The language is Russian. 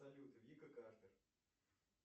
салют вика картер